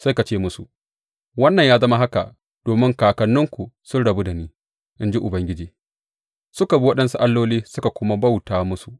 Sai ka ce musu, Wannan ya zama haka domin kakanninku sun rabu da ni,’ in ji Ubangiji, suka bi waɗansu alloli suka kuma bauta musu.